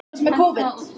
en bíll